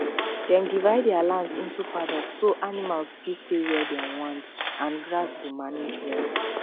dem divide their land um into paddock so animals fit stay where where um dem want um and grass go manage well